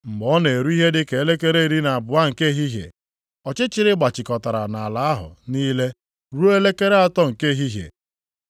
Mgbe ọ na-eru ihe dị ka elekere iri na abụọ nke ehihie, ọchịchịrị gbachikọtara nʼala ahụ niile ruo elekere atọ nke ehihie.